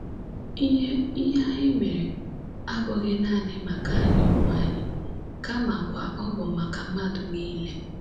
Ihe Ihe anyị mere abụghị nanị maka anyị onwe anyị, kamakwa ọ bụ maka mmadụ nile.”